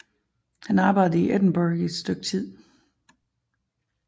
Han arbejdede i Edinburgh et stykke tid